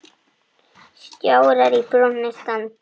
Stjórar í brúnni standa.